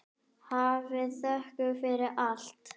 Hafið þökk fyrir allt.